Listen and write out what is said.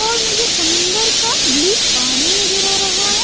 और मुझे समुंदर का ब्लू पानी नजर आ रहा है।